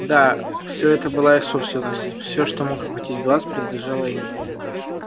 да все это была их собственность все что мог охватить глаз принадлежало им